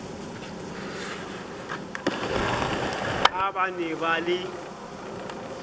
ha ba ne ba le